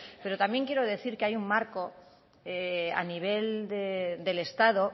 pero también quiero decir que hay un marco a nivel del estado